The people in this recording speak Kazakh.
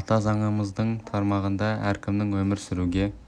ата заңымыздың тармағында әркімнің өмір сүруге